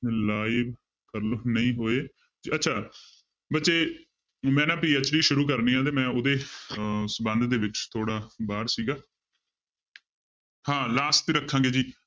Live ਨਹੀਂ ਹੋਏ ਅੱਛਾ ਬੱਚੇ ਮੈਂ ਨਾ PhD ਸ਼ੁਰੂ ਕਰਨੀ ਹੈ ਤੇ ਮੈਂ ਉਹਦੇ ਅਹ ਸੰਬੰਧ ਦੇ ਵਿੱਚ ਥੋੜ੍ਹਾ ਬਾਹਰ ਸੀਗਾ ਹਾਂ last ਤੇ ਰੱਖਾਂਗੇ ਜੀ